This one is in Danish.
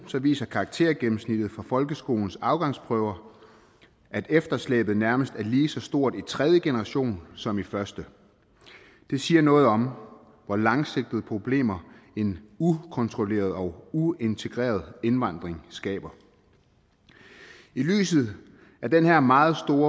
viser karaktergennemsnittet for folkeskolens afgangsprøver at efterslæbet nærmest er lige så stort i tredje generation som i første det siger noget om hvor langsigtede problemer en ukontrolleret og uintegreret indvandring skaber i lyset af den her meget